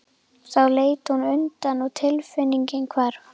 Þá leit hún undan og tilfinningin hvarf.